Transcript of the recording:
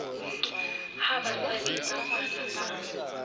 ha batswadi ba ngwana ba